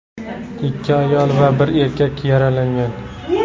Ikki ayol va bir erkak yaralangan.